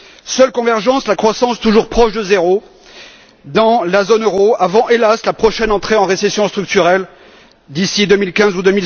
Seule convergence la croissance, toujours proche de zéro dans la zone euro avant, hélas, la prochaine entrée en récession structurelle d'ici 2015 ou